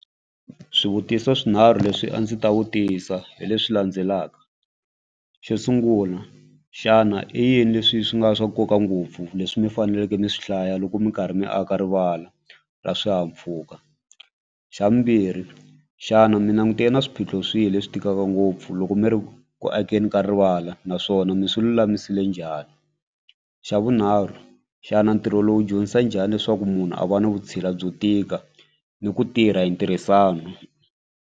Swivutiso swinharhu leswi a ndzi ta vutisa hi leswi landzelaka, xo sungula xana i yini leswi swi nga swa nkoka ngopfu leswi mi faneleke mi swi hlaya loko mi karhi mi aka rivala ra swihahampfhuka. Xa vumbirhi, xana mi langutene ni swiphiqo swihi leswi tikaka ngopfu loko mi ri ku akeni ka rivala naswona mi swi lulamisile njhani. Xa vunharhu xana ntirho lowu dyondzisa njhani leswaku munhu a va ni vutshila byo tika ni ku tirha hi ntirhisano.